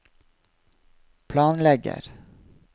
planlegger